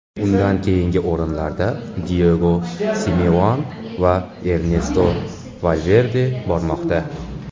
Undan keyingi o‘rinlarda Diego Simeone va Ernesto Valverde bormoqda.